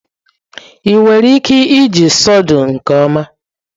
ị nwere ike iji sawdu nke ọma?